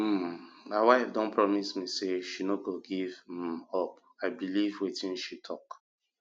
um my wife don promise me say she no go give um up and i believe wetin she talk